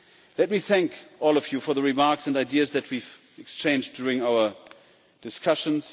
Let me thank all of you for the remarks and ideas that we have exchanged during our discussions.